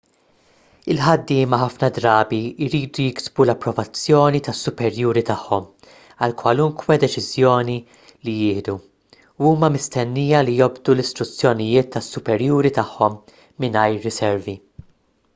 il-ħaddiema ħafna drabi jridu jiksbu l-approvazzjoni tas-superjuri tagħhom għal kwalunkwe deċiżjoni li jieħdu u huma mistennija li jobdu l-istruzzjonijiet tas-superjuri tagħhom mingħajr riservi